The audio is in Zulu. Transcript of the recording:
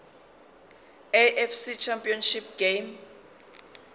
afc championship game